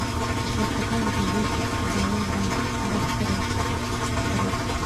у тебя в каталоге есть баллада бастера скраггса